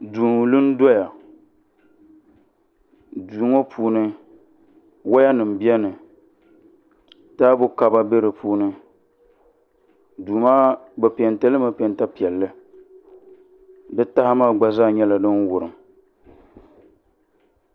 Duu n lu n doya duu ŋɔ puuni woya nim biɛni taabo kaba bɛ di puuni duu maa bi peenti limi peenta piɛlli di taha maa gba nyɛla din wurim